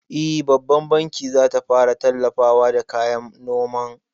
E, Babban banki zata fara tallafawa da kayan noman